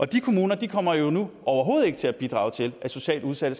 de kommuner kommer jo nu overhovedet ikke til at bidrage til at socialt udsatte